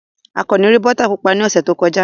Akanni rí bọ́tà pupa ní ọ̀sẹ̀ tó kọjá.